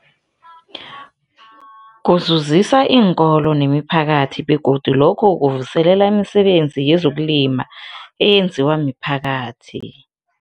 Kuzuzisa iinkolo nemiphakathi begodu lokhu kuvuselela imisebenzi yezokulima eyenziwa miphakathi.